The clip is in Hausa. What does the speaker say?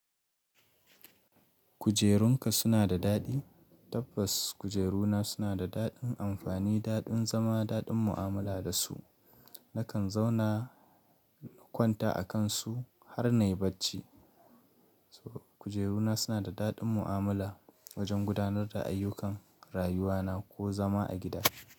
Kujerunka suna da daɗi? Tabbas kujeruna suna da daɗin amfani, daɗin zama, daɗin mu'amala da su. Nakan zauna na kwanta a kan su har na yi bacci. Kujeruna suna da daɗin mu'amala wajen gudanar da ayyukan rayuwana ko zama a gida.